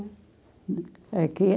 O eh, quê?